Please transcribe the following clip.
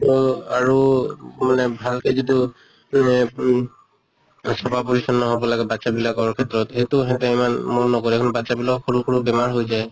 তহ আৰু মানে ভালকে যিটো মানে উম চফা পৰিচন্ন হʼব লাগে বাচ্ছা বিলাকৰ ক্ষেত্ৰত কিন্তু সেহঁতে ইমান মন নকৰে বাচ্ছা বিলাকৰ সৰু সৰু বেমাৰ হৈ যায়।